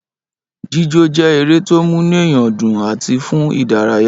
Jíjó je ere to munueyan du àti fun idaraya